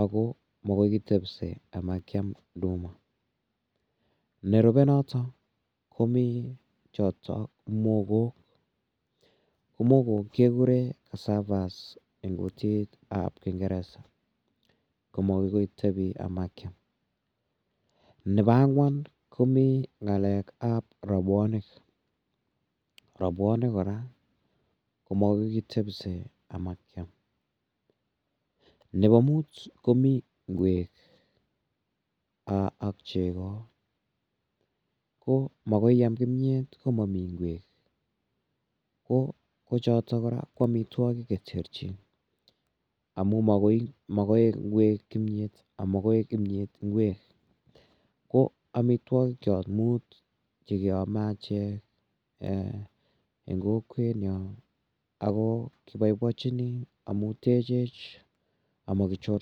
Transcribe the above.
ago magoi kitepse komakiam nduma. Nerupe noto komi choto mogo. Ko mogo kekuren cassavas en kutitab kingeresa. Ko magoi tebi komakiam. Nebo angwan komi ngalek ab rabwonik. Robwonik kora komagoi kitepse komakiam. Nebo mut komi ngwek ak chego. Ko magoi iam kimyet ngomami ingwek. Kochoto kora ko amitwogik kerchek amumakoi koek ingwek kimyet ago makoi koek kimyet ingwek. Ko amitwogikyok mut che keame achek eng kokwenyon ago kibaibachini amu techech ama kichorse.